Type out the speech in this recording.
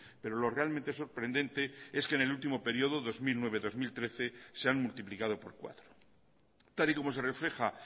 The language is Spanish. pero lo realmente sorprendente es que en el último periodo dos mil nueve dos mil trece se han multiplicado por cuatro tal y como se refleja